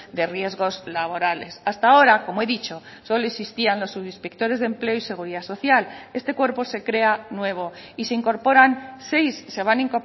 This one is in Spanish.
de riesgos laborales hasta ahora como he dicho solo existían los subinspectores de empleo y seguridad social este cuerpo se crea nuevo y se incorporan seis se van a